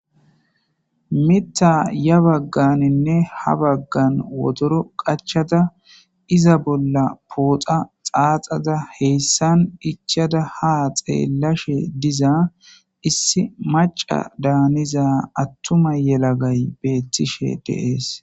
Mita ya bagganinne ha baggan wotoro qachada iza bolla pooxa xaaxada heyssan ichada ha xeellashe diza issi maca daaniza attuma yelagay beettishe deees.